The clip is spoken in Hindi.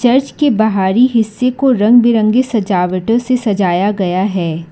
चर्च के बाहरी हिस्से को रंग बिरंगे सजावटो से सजाया गया है।